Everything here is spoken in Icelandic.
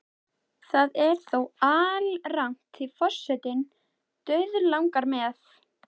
Það er þó alrangt því forsetann dauðlangar með.